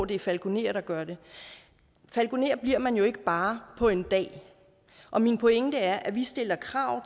det er falkonerer der gør det falkoner bliver man jo ikke bare på en dag og min pointe er at vi stiller krav